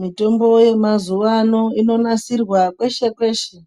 Mitombo yemazuwano inonasirwa peshe peshe.